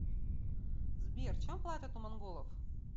сбер чем платят у монголов